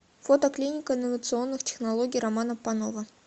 фото клиника инновационных технологий романа панова